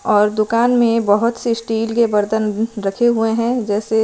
और दुकान में बहोत से स्टील के बर्तन रखे हुए हैं जैसे--